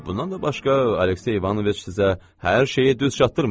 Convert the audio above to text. Bundan da başqa, Aleksey İvanoviç sizə hər şeyi düz çatdırmadı.